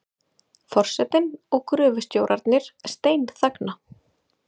Forsetinn og gröfustjórarnir steinþagna.